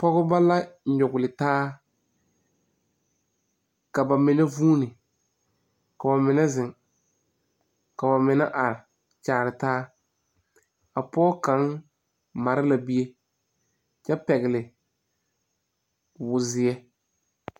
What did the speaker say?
pogeba la a nyugle taa. Ka ba mene vuune, k'o mene zeŋ, k'o mene are kyaare taa. A poge kang mare la bie kyɛ pɛgle wur zie